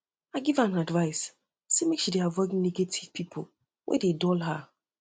i give am advice sey make she avoid negative pipo wey dey dull her